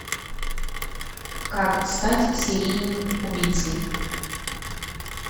как стать серийным убийцей